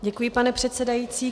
Děkuji, pane předsedající.